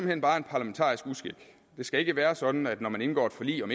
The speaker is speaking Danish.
hen bare en parlamentarisk uskik det skal ikke være sådan at når man indgår et forlig om